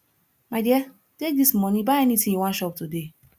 my dear take dis money buy anything you wan chop today